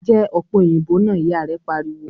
"Jẹ́ ọ̀pẹ̀ òyìnbó náà!" Ìyà rẹ pariwo